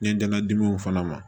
N ye dɛngɛn dimiw fana ma